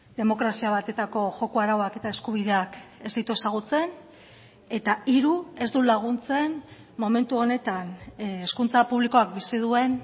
demokrazia bateko joko arauak eta eskubideak ez ditu ezagutzen eta hiru ez du laguntzen momentu honetan hezkuntza publikoak bizi duen